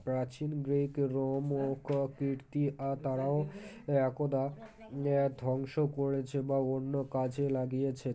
প্রাচীন Greek Rome ও ককীর্তি আর তারাও একদা আআ ধ্বংস করেছে বা অন্য কাজে লাগিয়েছে